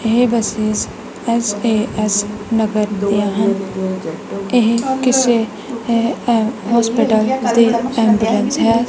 ਇਹ buses S A S Nagar ਦਿਆਂ ਹਨ ਇਹ ਕਿਸੇ ਇਹ ਇਹ ਹੌਸਪੀਟਲ ਦੀ ਐਮਬੂਲੈਂਸ ਹੈ।